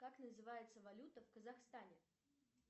как называется валюта в казахстане